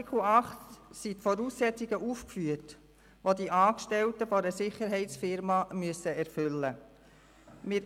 In Artikel 8 sind die Voraussetzungen aufgeführt, die die Angestellten einer Unternehmung, die im Sicherheitsbereich tätig ist, erfüllen müssen.